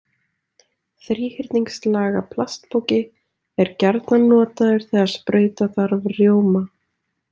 Þríhyrningslaga plastpoki er gjarnan notaður þegar sprauta þarf rjóma.